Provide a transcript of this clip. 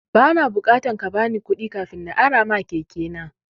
Ba na bukatan kabani kuɗi kafin na arama keke na.